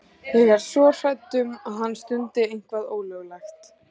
Ég er svo hrædd um að hann stundi eitthvað ólöglegt.